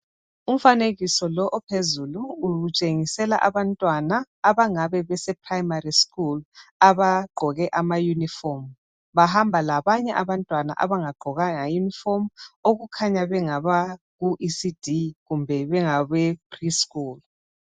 Umfanekiso lo ophezulu utshengisela abantwana abangabe beseprimary school abagqoke amauniform . Bahamba labanye abantwana abangagqokanga uniform okukhanya bengaba kuECD kumbe bengabe Preschool.